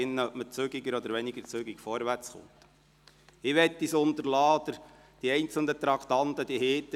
Ich möchte es unterlassen, auf die einzelnen Traktanden einzugehen, sie liegen Ihnen vor;